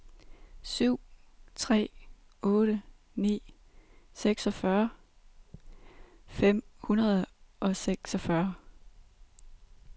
syv tre otte ni seksogtyve fem hundrede og seksogfyrre